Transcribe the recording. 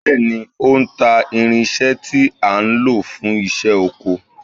Bẹ́ẹ̀ni ó ń ta irinṣẹ́ tí a ń lò fún iṣẹ́ oko